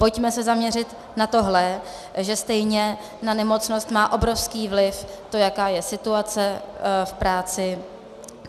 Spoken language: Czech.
Pojďme se zaměřit na tohle, že stejně na nemocnost má obrovský vliv to, jaká je situace v práci.